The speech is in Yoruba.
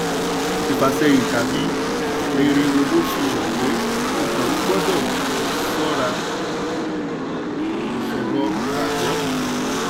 ìfàsẹ́yín tàbí rere owó fi hàn pé okòowò gbọ́dọ̀ ṣọ́ra ṣòro gbagbọ.